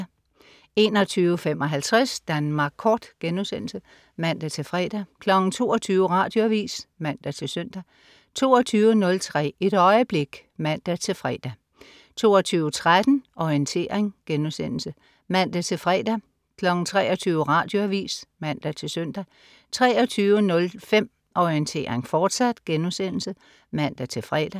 21.55 Danmark Kort* (man-fre) 22.00 Radioavis (man-søn) 22.03 Et øjeblik (man-fre) 22.13 Orientering* (man-fre) 23.00 Radioavis (man-søn) 23.05 Orientering, fortsat* (man-fre)